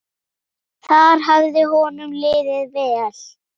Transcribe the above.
Þar hafði honum liðið vel.